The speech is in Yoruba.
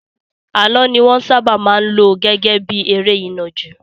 Àlọ́ ni wọ́n sábà máa ń lò gẹ́gẹ́ bí eré ìnàjú.